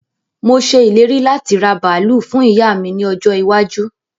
Mo ṣe ìlérí láti raa bàálù fún ìyá mi ní ọjọ́ iwájú